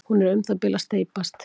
hún er um það bil að steypast